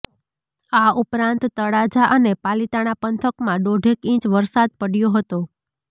આ ઉપરાંત તળાજા અને પાલીતાણા પંથકમાં દોઢેક ઇંચ વરસાદ પડ્યો હતો